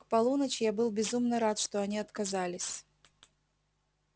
к полуночи я был безумно рад что они отказались